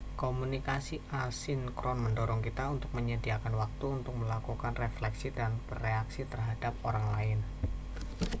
komunikasi asinkron mendorong kita untuk menyediakan waktu untuk melakukan refleksi dan bereaksi terhadap orang lain